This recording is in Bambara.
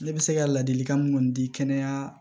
Ne bɛ se ka ladilikan mun di kɛnɛya